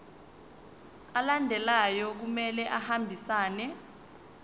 alandelayo kumele ahambisane